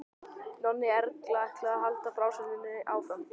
Nonni Erlu ætlaði að halda frásögninni áfram.